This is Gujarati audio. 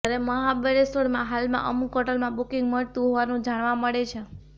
જયારે મહાબળેશ્વરમાં હાલમાં અમુક હોટલમાં બુકીંગ મળતું હોવાનું જાણવા મળે છે